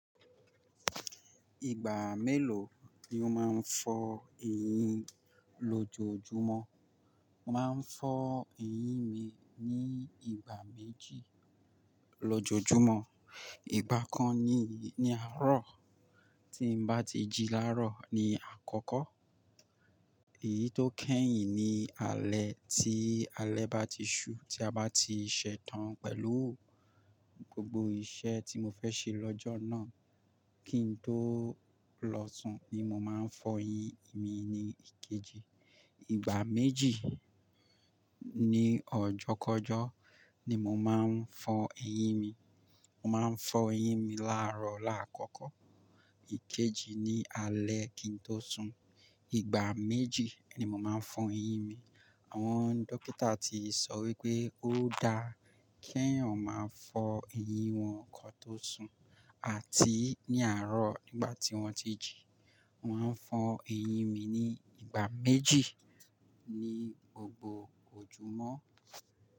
Ìgbà mélòó ni o máa ń fọ ẹyín lọ́jọ́ojúmọ́? Mo máa ń fọ ẹyín mi ní ìgbà méjì lọ́jọ́júmọ́. Ìgbà kan ni àárọ̀ tí n bá ti jí láaró ni àkọ́kọ́. Èyí tó kẹ́yìn ni alẹ́ tí alẹ́ bá ti ṣú tí a bá ti ṣẹ́tàn pẹ̀lú gbogbo iṣẹ́ tí mo fẹ́ ṣe lọ́jọ́ náà kí n tó lọ sùn ni mo máa ń fọ eyín mi ní ìkejì. Ìgbà méjì ní ọjọ́kọjọ́ ni mo máa ń fọ ẹyín mi. Mo máa ń fọ ẹyín mi láàrọ̀ láàkọ́kọ́, ìkejì ní alẹ́ kí n tó sùn. Ìgbà méjì ni mo máa ń fọ ẹyín mi. Àwọn dókítà ti sọ wípé ó dáa kí èèyàn máa fọ ẹyín wọn kán tó sùn àti ní àárọ̀ nígbà tí wọ́n ti jí. Mo máa ń fọ ẹyín mi ní ìgbà méjì ní gbogbo ojúmọ́.